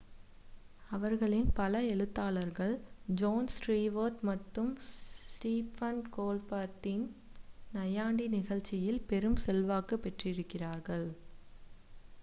அவர்களின் பல எழுத்தாளர்கள் ஜோன் ஸ்டீவர்ட் மற்றும் ஸ்டிஃபன் கோல்பர்ட்டின் நையாண்டி நிகழ்ச்சியில் பெரும் செல்வாக்கு பெற்றிருக்கிறார்கள்